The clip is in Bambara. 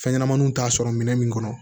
Fɛnɲɛnɛmaninw t'a sɔrɔ minɛn min kɔnɔ